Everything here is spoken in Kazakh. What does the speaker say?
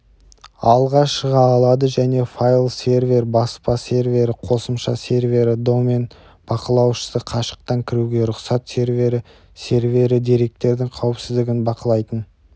алға шыға алады және файл-сервер баспа сервері қосымша сервері домен бақылаушысы қашықтан кіруге рұқсат сервері сервері деректердің қауіпсіздігін бақылайтын